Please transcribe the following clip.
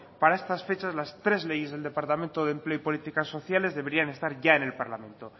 para estas fechas las tres leyes del departamento de empleo y políticas sociales deberían estar ya en el parlamento